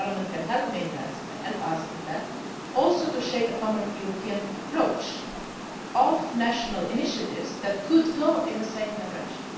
can help us in that to shape a common European approach of national initiatives that could go in the same direction.